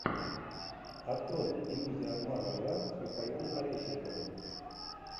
открой иллюзия обмана два с михаилом пореченковым